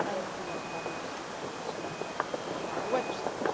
We have published that study on our website.